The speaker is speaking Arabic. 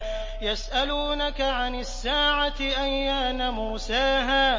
يَسْأَلُونَكَ عَنِ السَّاعَةِ أَيَّانَ مُرْسَاهَا